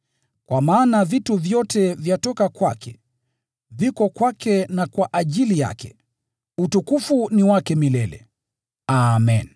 Kwa maana vitu vyote vyatoka kwake, viko kwake na kwa ajili yake. Utukufu ni wake milele! Amen.